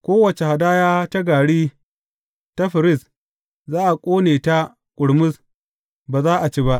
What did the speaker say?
Kowace hadaya ta gari ta firist, za a ƙone ta ƙurmus, ba za a ci ba.